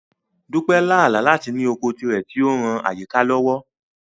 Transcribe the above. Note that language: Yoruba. Dupe lá àlá láti ní oko tirẹ̀ tí ó ń ran àyíká lọ́wọ́.